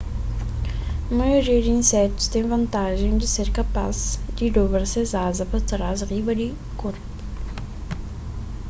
maioria di insetus ten vantajen di ser kapas di dobra ses aza pa trás riba di korpu